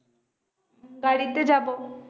গাড়ীতে যাবো